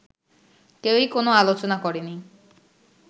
কেউই কোন আলোচনা করেনি